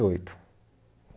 e oito